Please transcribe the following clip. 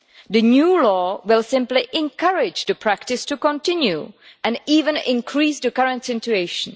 The new law will simply encourage the practice to continue and even intensify the current situation.